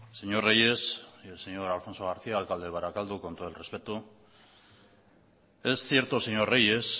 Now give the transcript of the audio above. señor reyes y señor alfonso garcía alcalde de barakaldo con todo el respeto es cierto señor reyes